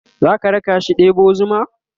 zaka rakashi ɗebo zuma?